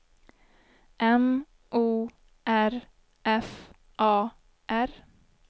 M O R F A R